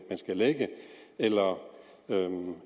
lægge eller